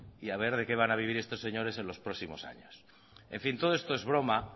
y a ver de qué van a vivir estos señores en los próximos años en fin todo esto es broma